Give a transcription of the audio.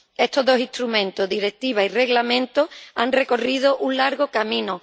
Estos dos instrumentos —Directiva y Reglamento— han recorrido un largo camino.